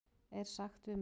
er sagt við mig?